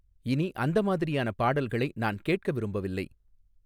இனி அந்த மாதிரியான பாடல்களை நான் கேட்க விரும்பவில்லை